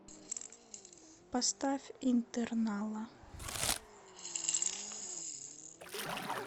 поставь интернала